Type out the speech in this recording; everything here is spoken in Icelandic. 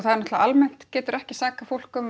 almennt geturðu ekki sakað fólk um